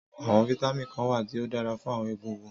Àwọn vitamin kan wà tí ó dára fún àwọn egungun